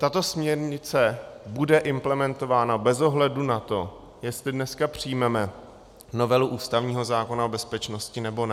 Tato směrnice bude implementována bez ohledu na to, jestli dneska přijmeme novelu ústavního zákona o bezpečnosti, nebo ne.